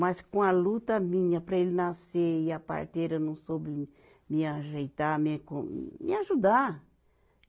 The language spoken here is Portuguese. Mas com a luta minha para ele nascer e a parteira não soube lim, me ajeitar, me com, me ajudar.